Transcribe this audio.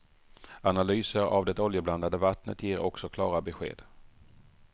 Analyser av det oljeblandade vattnet ger också klara besked.